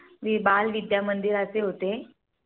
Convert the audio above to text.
मी बाल विद्या मंदिराचे होते.